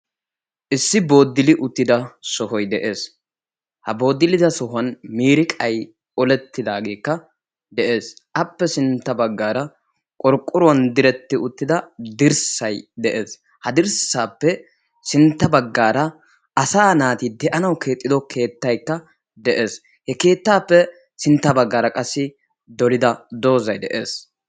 Issi booddili uttida sohoy de'ees. Ha booddilida sohuwan miiriqay olettidaageekka de'ees. Appe sintta baggaara qorqqoruwan diretti uttida dirssay de'ees. Ha dirssaappe sintta baggaara asaa naati de'anawu keexxido keettaykka de'ees. He keettaappe sintta baggaara qassi doliya doozay de'ees.